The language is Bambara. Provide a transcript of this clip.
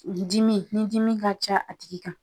' dimi ni dimi ka ca a tigi kan.